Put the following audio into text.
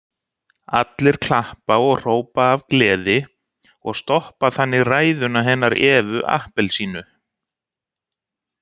Allir klappa og hrópa af gleði og stoppa þannig ræðuna hennar Evu appelsínu.